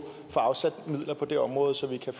afsat midler på det område så vi kan